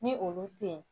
Ni olu te yen